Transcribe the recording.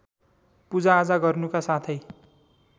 पूजाआजा गर्नुका साथै